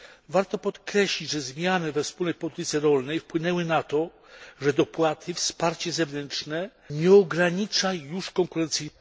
Warto podkreślić, że zmiany we wspólnej polityce rolnej wpłynęły na to, że dopłaty i wsparcie zewnętrzne nie ogranicza już konkurencyjności.